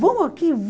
Vão aqui?